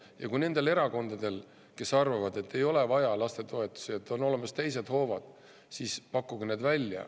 Ja kui nendel erakondadel, kes arvavad, et ei ole vaja lastetoetusi, on olemas teised hoovad, siis pakkuge need välja.